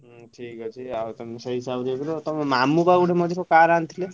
ହୁଁ ଠିକ୍ ଅଛି ଆଉ ତମେ ସେଇ ହିସାବ ଦେଇଥିଲ, ଆଉ ତମ ମାମୁଁ ବା ମଝିରେ ଗୋଟେ car ଆଣିଥିଲେ?